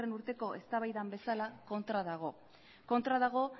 urteko eztabaidan bezala kontran dago kontra dago